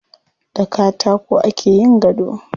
Da katako ake yin gado.